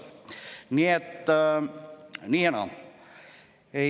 Nii et, nii ja naa.